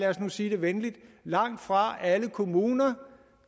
os nu sige det venligt langtfra er alle kommuner